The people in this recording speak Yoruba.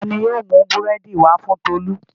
Ta ni yóò mú búrẹ́dì wá fún Tolú?